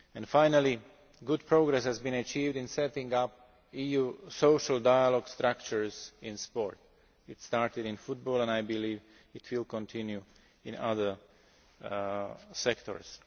Finally, good progress has been achieved in setting up EU social dialogue structures in sport. It started in football and I believe it will continue in other sectors.